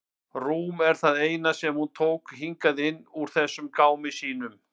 Rúm það eina sem hún tók hingað inn úr þessum gámi sínum.